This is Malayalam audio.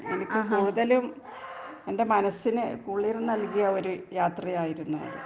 എനിക്ക് കൂടുതലും എന്റെ മനസ്സിന് കുളിർ നൽകിയ ഒരു യാത്രയായിരുന്നു അത്.